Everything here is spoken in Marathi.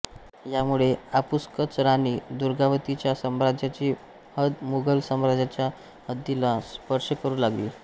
यामुळे आपसूकच राणी दुर्गावतीच्या साम्राज्याची हद्द मुघल साम्राज्याच्या हद्दीला स्पर्श करू लागली